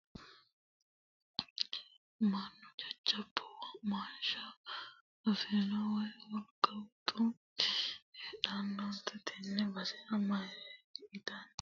Mannu jajjabbu womaashsha afirihu woyi wolqa woxuti heedhusihu tene basera marre ittanni agani ileseni biifinore daa"attanni yanna saysano biifado base duucha heedhano quchumate.